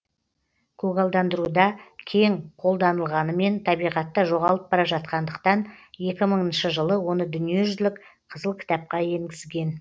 көгалдандыруда кең қолданылғанымен табиғатта жоғалып бара жатқандықтан екі мыңыншы жылы оны дүниежүзілік қызыл кітапқа енгізген